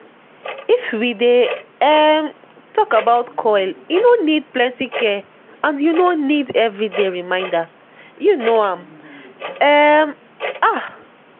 if we dey um talk about coil e no need plenty care and u no need every day reminder - u know am um ah